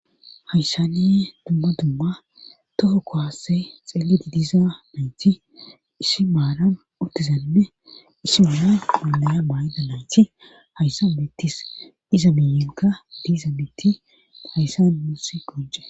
Hayssaniye dumma dumma toho kowasse xeelidi diza mayti issi maaran uttizanne issi humma olaya maayida nayti hayssa mittis iza miyinka diiza mitti hayssa musi goje.